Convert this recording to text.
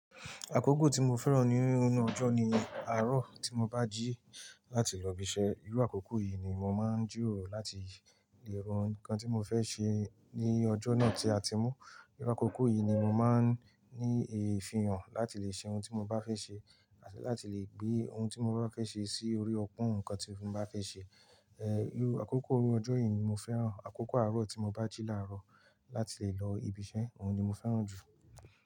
Àkókò tí mo fẹ́ràn ní inú ọjọ́ ni àárọ̀ tí mo bá jí láti lọ ibiṣẹ́. Irú àkókò yìí ni mo máa ń jìroro láti lè ro nkan tí mo fẹ́ ṣe ní ọjọ́ náà tí a ti mú. Irú àkókò yìí ni mo máa ń ní ìfihàn láti lè ṣe ohun tí mo bá fẹ́ ṣe àti láti lè gbé ohun tí mo bá fẹ́ ṣe sí orí ọpọ́n nǹkan tí mo bá fẹ́ ṣe. Ẹ, irú àkókò ọjọ́ yìí ni mo fẹ́ràn. Àkókò àárọ̀ tí mo bá jí làárọ̀ láti lè lọ ibiṣẹ́, òun ni mo fẹ́ràn jù.